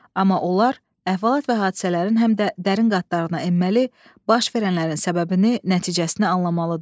Amma onlar əhvalat və hadisələrin həm də dərin qatlarına enməli, baş verənlərin səbəbini, nəticəsini anlamalıdırlar.